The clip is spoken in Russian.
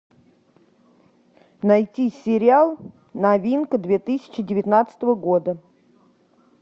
найти сериал новинка две тысячи девятнадцатого года